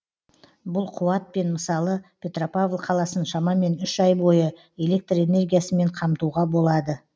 бұл қуатпен мысалы петропавл қаласын шамамен үш ай бойы электр энергиясымен қамтуға болады